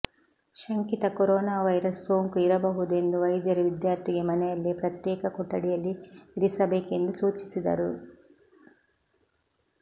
ಶಂಕಿತ corona virus ಸೋಂಕು ಇರಬಹುದೆಂದು ವೈದ್ಯರು ವಿದ್ಯಾರ್ಥಿಗೆ ಮನೆಯಲ್ಲೇ ಪ್ರತ್ಯೇಕ ಕೊಠಡಿಯಲ್ಲಿ ಇರಿಸಬೇಕೆಂದು ಸೂಚಿಸಿದ್ದರು